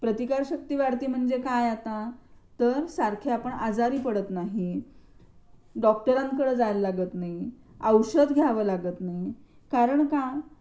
प्रतिकार शक्ती वाढते म्हणजे काय आता तर सारखे आपण आजारी पडत नाही डॉक्टरांकडे जायला लागत नाही औषध घ्याव लागत नाही कारण का?